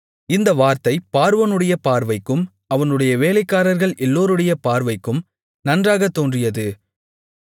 இந்த வார்த்தை பார்வோனுடைய பார்வைக்கும் அவனுடைய வேலைக்காரர்கள் எல்லோருடைய பார்வைக்கும் நன்றாகத் தோன்றியது